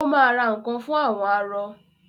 ó ma ra nǹkan fún “ àwọn arọ ”.